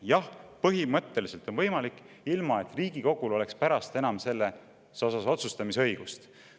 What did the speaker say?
Jah, põhimõtteliselt on võimalik, ilma et Riigikogul oleks pärast seda enam selles küsimuses otsustusõigust.